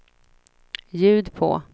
ljud på